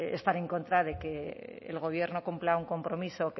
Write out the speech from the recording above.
estar en contra de que el gobierno cumpla un compromiso